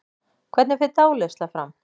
Hvernig fer dáleiðsla fram?